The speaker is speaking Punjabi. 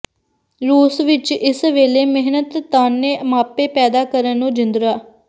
ਰੂਸ ਵਿਚ ਇਸ ਵੇਲੇ ਮਿਹਨਤਾਨੇ ਮਾਪੇ ਪੈਦਾ ਕਰਨ ਨੂੰ ਜਿੰਦਰਾ